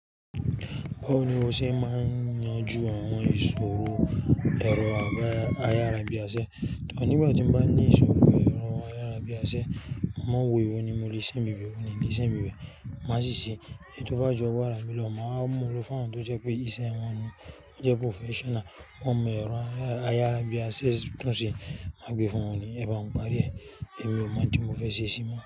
Báwo ni o ṣe máa ń yanjú àwọn ìṣòro ẹ̀rọ ayárabíàṣẹ? Tọ́ nígbà tí mo bá ní ìṣòro ẹ̀rọ ayárabíàṣẹ, mo mọ̀ wò èwo ni mo le ṣe bíbẹ̀, ó ní di ìṣe bíbẹ̀. Má sì ṣe é, tó bá jọ wà lára bí lọmọ, a mọ̀ lọ fún ọ̀ tó jẹ́ pé ìṣe wọn ní ó jẹ́ professional. Wọ́n mọ ẹ̀rọ ayárabíàṣẹ tán ṣe, má gbé fún wọn ní, "Ẹ̀ bá ọ̀ parí ẹ̀, èmi o mọ̀ tí mo fẹ́ ṣe sí i mọ́."